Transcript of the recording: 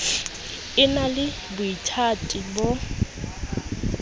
e na le boithati bo